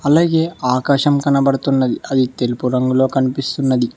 అలాగే ఆకాశం కనబడుతున్నది అది తెలుపు రంగులో కనిపిస్తున్నది.